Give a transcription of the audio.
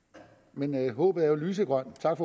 men håbet er jo lysegrønt tak